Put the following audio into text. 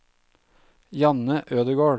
Janne Ødegård